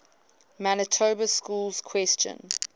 manitoba schools question